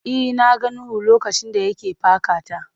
E, na ga Nuhu lokacin da ya ke paka ta.